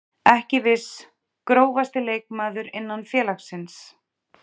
Ekki viss Grófasti leikmaður innan félagsins?